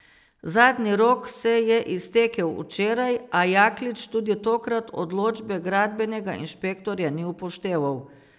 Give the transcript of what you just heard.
Zadnji rok se je iztekel včeraj, a Jaklič tudi tokrat odločbe gradbenega inšpektorja ni upošteval.